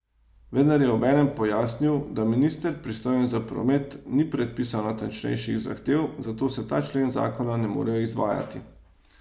Vendar je obenem pojasnil, da minister, pristojen za promet, ni predpisal natančnejših zahtev, zato se ta člen zakona ne more izvajati.